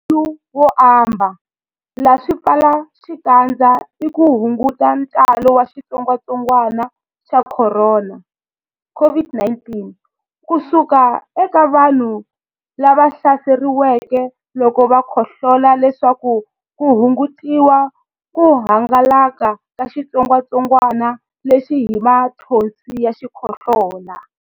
Mbuyelonkulu wo ambala swipfalaxikandza i ku hunguta ntalo wa xitsongwantsongwana xa Khorona, COVID-19, ku suka eka vanhu lava hlaseriweke loko va khohlola leswaku ku hungutiwa ku hangalaka ka xitsongwantsongwana lexi hi mathonsi ya xikhohlola.